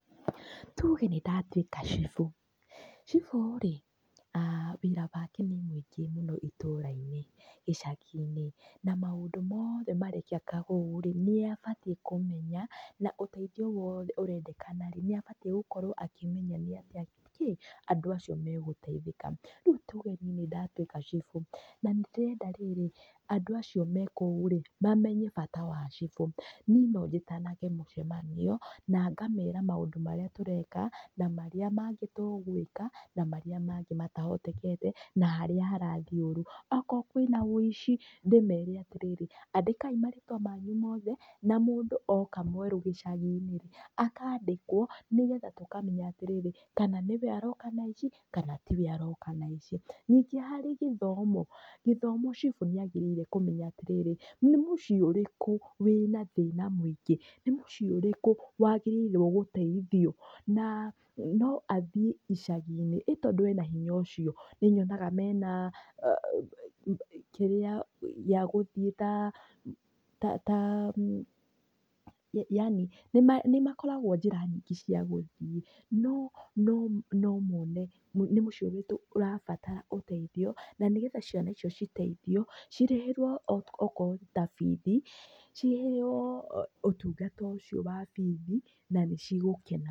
Tu hĩndĩ ndatwĩka cibũ rĩ, wĩra wake nĩ mũingĩ mũno itũra-inĩ, gĩcagi-inĩ, na maũndũ mothe, marekĩka kũu, nĩe abatiĩ kũmenya, na ũteithio wothe ũrendekana rĩ, nĩabatiĩ gũkorwo akĩmenya nĩatĩa andũ acio megũteithĩka, rĩu tuge niĩ nĩndatwĩka cibũ, na nĩndĩrenda rĩrĩ, andũ acio mekũu rĩ, mamenye bata wa cibũ, niĩ nonjĩtanage mũcemanio, nangamera maũndũ marĩa tũreka, na marĩa mangĩ tũgwĩka, na marĩa mangĩ matahotekete, na harĩa harathiĩ ũru, okorwo kwĩna wũici, ndĩmere atĩrĩrĩ, andĩkai marĩtwa mangu mothe, na mũndũ oka mwerũ gĩcagi-inĩ rĩ, oka andĩkwo, nĩgetha tũkamenya atĩrĩrĩ, kana nĩwe aroka na aici, kana tiwe aroka na aici, ningĩ harĩ gĩthomo, gĩthomo cibũ nĩagĩrĩire kũmenya atĩrĩrĩ, nĩ mũciĩ ũrĩkũ wĩna thĩna mũingĩ, nĩ mũciĩ ũrrĩkũ, wagĩrĩirwo nĩ gũteithio, na, noathiĩ icagi-inĩ, ĩ tondũ ena hinya ũcio, nĩũrĩonaga mena kĩrĩa, ya gũthiĩ yani, nĩmakoragwo njĩra nyingĩ cia gũthiĩ, no, no, nomone, nĩ mũciĩ ũrĩkũ ũrabatara ũteithio, nanĩgetha ciana icio citeithio, cirĩhĩrwo okorwo nĩta, bithii, cirĩhĩrwo ũtungata ũcio wa bithi, nanĩcigũkena.